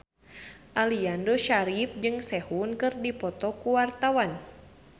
Aliando Syarif jeung Sehun keur dipoto ku wartawan